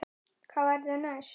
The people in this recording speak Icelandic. Hvað verður næst?